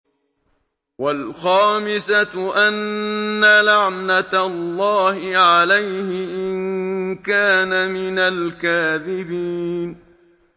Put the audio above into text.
وَالْخَامِسَةُ أَنَّ لَعْنَتَ اللَّهِ عَلَيْهِ إِن كَانَ مِنَ الْكَاذِبِينَ